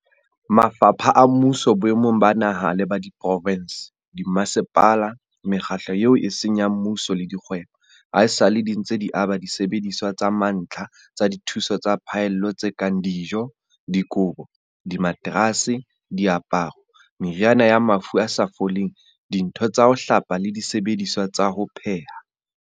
Mafapha a mmuso boemong ba naha le ba diprovense, dimmasepala, mekgatlo eo e seng ya mmuso le dikgwebo, haesale di ntse di aba disebediswa tsa mantlha tsa dithuso tsa phallelo tse kang dijo, dikobo, dimaterase, diaparo, meriana ya mafu a sa foleng, dintho tsa ho hlapa le disebediswa tsa ho pheha.